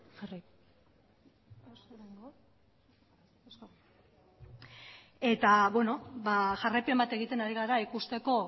jarrai eta beno ba jarraipen bat egiten ari gara ikusteko